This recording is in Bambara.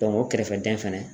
o kɛrɛfɛ dɛn fɛnɛ.